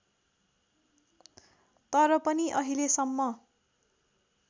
तर पनि अहिलेसम्म